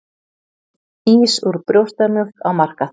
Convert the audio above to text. Ís úr brjóstamjólk á markað